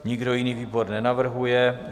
Nikdo jiný výbor nenavrhuje.